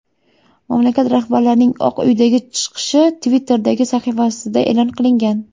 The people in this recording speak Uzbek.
Mamlakat rahbarining Oq uydagi chiqishi Twitter’dagi sahifasida e’lon qilingan .